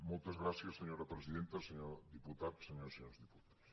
moltes gràcies senyora presidenta senyor diputat senyores i senyors diputats